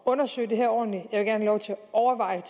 at undersøge det her ordentligt jeg vil lov til at overveje